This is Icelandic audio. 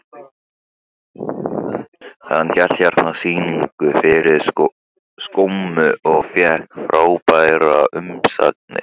Hann hélt hérna sýningu fyrir skömmu og fékk frábærar umsagnir.